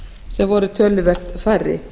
sem voru töluvert færri